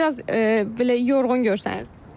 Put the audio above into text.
Biraz belə yorğun görsənirsiniz.